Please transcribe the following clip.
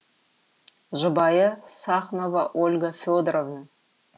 жұбайы сахнова ольга федоровна